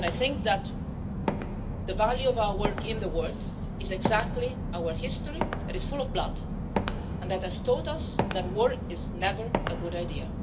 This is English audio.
And I think that the value of our work in the world is exactly our history it is full of blood, and that has taught us that war is never a good idea.